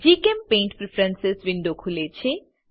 જીચેમ્પેઇન્ટ preference window ખુલે છે